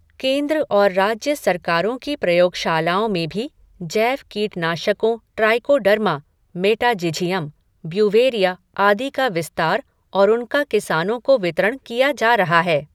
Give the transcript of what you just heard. केन्द्र और राज्य सरकारों की प्रयोगशालाओं में भी जैव कीटनाशकों ट्राइकोडर्मा, मेटाझिझियम, ब्यूवेरिया आदि का विस्तार और उनका किसानों को वितरण किया जा रहा है।